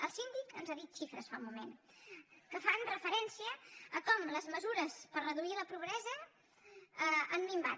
el síndic ens n’ha dit xifres fa un moment que fan referència a com les mesures per reduir la pobresa han minvat